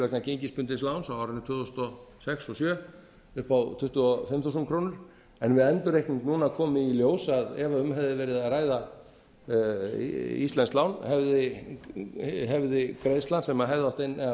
vegna gengisbundins láns á árinu tvö þúsund og sex og tvö þúsund og sjö upp á tuttugu og fimm þúsund krónur en við endurreikning núna komi í ljós ef um hefði verið að ræða íslenskt lán hefði greiðslan sem átt að inna af